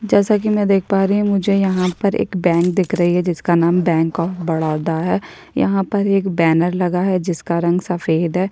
जैसा कि मैं देख पा रही हूँ मुझे यहाँ पर एक बैंक दिख रही है जिसका नाम बैंक ऑफ बड़ौदा है यहाँ पर एक बैनर लगा है जिसका रंग सफेद हैं।